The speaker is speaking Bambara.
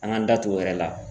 An g'an da tu o yɛrɛ la